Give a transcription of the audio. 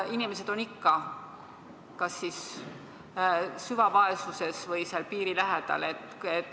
Inimesed on siis ikka kas süvavaesuses või selle piiri lähedal.